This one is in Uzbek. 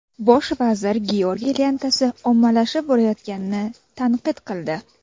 Bosh vazir Georgiy lentasi ommalashib borayotganini tanqid qildi.